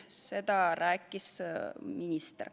Seda rääkis minister.